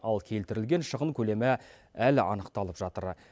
ал келтірілген шығын көлемі әлі анықталып жатыр